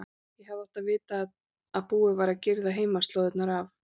Ég hefði átt að vita að búið væri að girða heimaslóðirnar af.